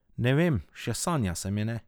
Ne vem, še sanja se mi ne.